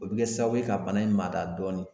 O bi kɛ sababu ye ka bana in mada dɔɔni.